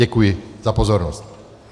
Děkuji za pozornost.